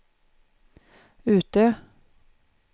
Utö